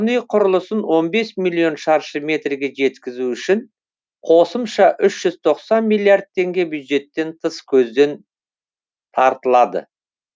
тұрғын үй құрылысын он бес миллион шаршы метрге жеткізу үшін қосымша үш жүз тоқсан миллиард теңге бюджеттен тыс көзден тартылады